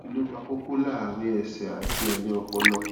kí ló ń fa koko láàárín ẹsẹ àti ẹyìn ọpọlọ